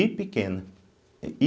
I pequena.